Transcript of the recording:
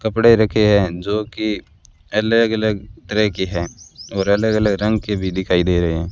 कपड़े रखे है जो की अलग अलग तरह की हैं और अलग अलग रंग के भी दिखाई दे रहे हैं।